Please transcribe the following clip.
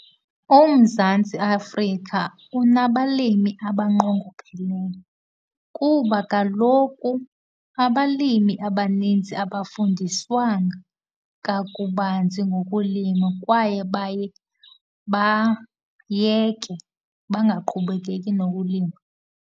UMzantsi Afrika unabalimi abanqongopheleyo kuba kaloku abalimi abaninzi abafundiswanga kakubanzi ngokulima kwaye bayeke, bangaqhubekeki nokulima.